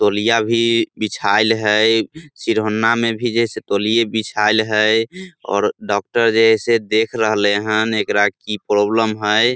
तौलिया भी बिछाएल हेय सिरहोना मे भी जैसे तोलिये बिछाएल हेय और डॉक्टर जैसे देख रहले हेय एकरा की प्रॉब्लम है।